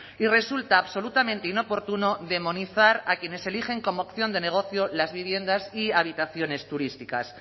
y resulta absolutamente inoportuno demonizar a quienes eligen como opción de negocio las viviendas y habitaciones turísticas